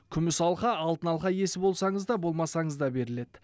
күміс алқа алтын алқа иесі болсаңыз да болмасаңыз да беріледі